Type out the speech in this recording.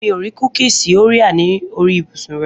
Mi ò rí kúkìsì Orea ní orí ibùsùn rẹ.